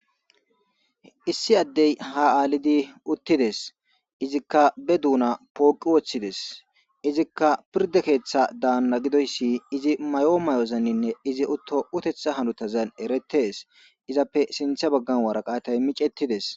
issi addey ha aalidi uttides izikka be duuna pooqi woththides izikka pirde keeththa daanna gidoyssi izi maayo maayozanninne izi utto utetha hanotazan eretes. Izappe sintha baggan waraqatay micettides.